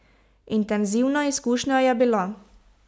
Intenzivna izkušnja je bila.